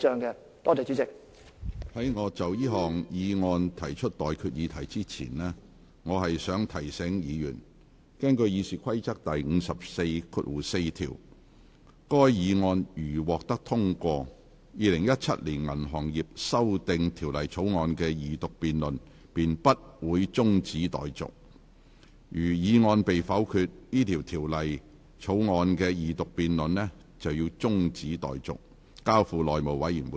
在我就這項議案提出待決議題之前，我想提醒議員，根據《議事規則》第544條，該議案如獲得通過，《2017年銀行業條例草案》的二讀辯論便不會中止待續；如議案被否決，《條例草案》的二讀辯論便會中止待續，而《條例草案》須交付內務委員會處理。